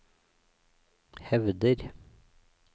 hevder